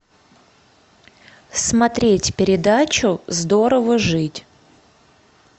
смотреть передачу здорово жить